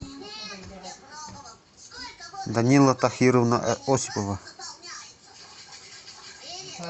данила тахировна осипова